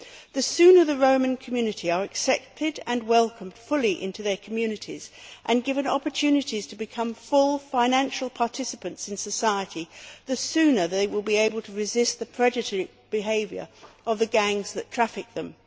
The sooner the Roma community are accepted and welcomed fully into communities and given opportunities to become full financial participants in society, the sooner they will be able to resist the predatory behaviour of the gangs that traffic them.